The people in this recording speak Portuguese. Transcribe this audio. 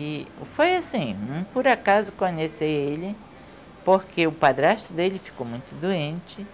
E foi assim, por acaso conheci ele porque o padrasto dele ficou muito doente